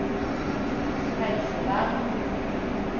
helsevern